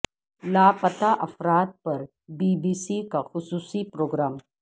لاپتہ افراد پر بی بی سی کا خصوصی پروگرام